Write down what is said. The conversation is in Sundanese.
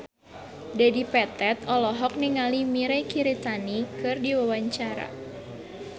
Dedi Petet olohok ningali Mirei Kiritani keur diwawancara